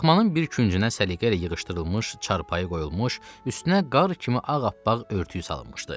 Daxmanın bir küncünə səliqə ilə yığışdırılmış çarpayı qoyulmuş, üstünə qar kimi ağappaq örtüyü salınmışdı.